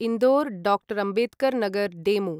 Indore doctor Ambedkar Nagar DEMU